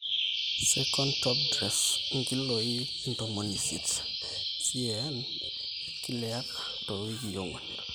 2nd top dress nkiloii intomoni isiet CAN/acre toowikii ong'wan